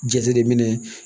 Jateminɛ